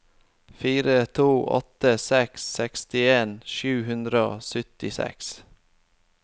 fire to åtte seks sekstien sju hundre og syttiseks